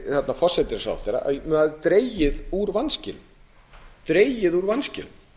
hægt forsætisráðherra um að dregið hafi úr vanskilum